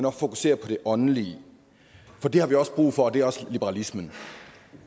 også fokuserer på det åndelige for det har vi også brug for og det er også liberalisme